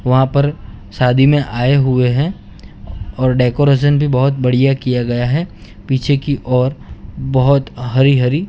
वहां पर शादी में आए हुए हैं और डेकोरेशन भी बहोत बढ़िया किया गया है पीछे की ओर बहोत हरि हरि--